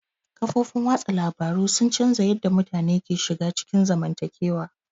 Kafofin watsa labaru sun canza yadda mutane ke shiga cikin zamantakewa.